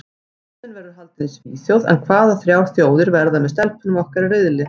Keppnin verður haldin í Svíþjóð en hvaða þrjár þjóðir verða með stelpunum okkar í riðli?